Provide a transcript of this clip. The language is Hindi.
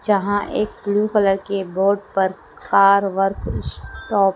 जहाँ एक ब्लू कलर के बोर्ड पर कार वर्क शॉप --